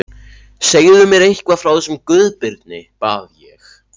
Segðu mér eitthvað frá þessum Guðbirni, bað ég.